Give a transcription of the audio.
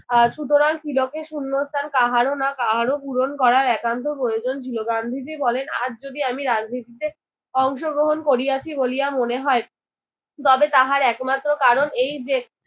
আহ সুতরাং তিলকের শূন্যস্থান কাহারো না কাহারো পূরণ করার একান্ত প্রয়োজন ছিল। গান্ধীজি বলেন, আজ যদি আমি রাজনীতিতে অংশগ্রহণ করিয়াছি বলিয়া মনে হয় তবে তাহার একমাত্র কারণ এই যে